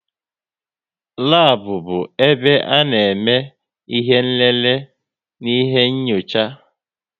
Labu bụ ebe ana eme ihe nlele n'ihe nyocha